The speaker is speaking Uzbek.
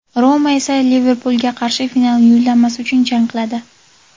"Roma" esa "Liverpul"ga qarshi final yo‘llanmasi uchun jang qiladi.